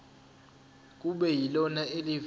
kube yilona elivela